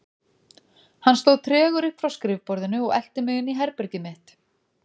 Hann stóð tregur upp frá skrifborðinu og elti mig inn í herbergið mitt.